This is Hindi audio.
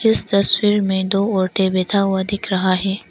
इस तस्वीर में दो औरतें बैठा हुआ दिख रहा है।